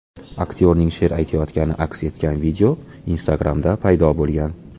Aktyorning she’r aytayotgani aks etgan video Instagram’da paydo bo‘lgan.